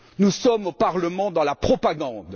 Nous sommes au Parlement dans la propagande.